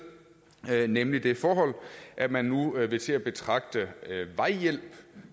ved nemlig det forhold at man nu vil til at betragte vejhjælp